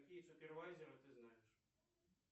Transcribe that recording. какие супервайзеры ты знаешь